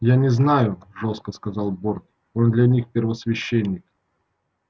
я не знаю жёстко сказал борт он для них первосвященник